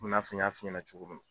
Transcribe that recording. Komi i n'a fɔ n y'a f'i ɲɛna cogo min.